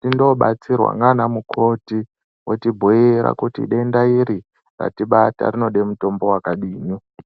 tindobatsirwa ndiana mukoti otibhuira kuti denda iri ratibata rinoda mutombo wakadini